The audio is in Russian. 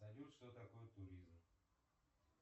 салют что такое туризм